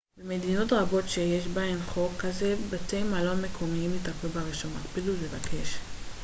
במדינות רבות שיש בהן חוק כזה בתי מלון מקומיים יטפלו ברישום הקפידו לבקש